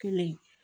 Kelen